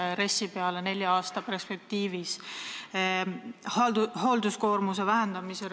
Ja kui võimalik, siis rääkige ka nelja aasta perspektiivist, kui RES-i peale mõelda.